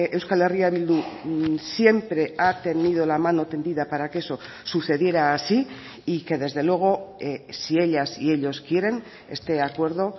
euskal herria bildu siempre ha tenido la mano tendida para que eso sucediera así y que desde luego si ellas y ellos quieren este acuerdo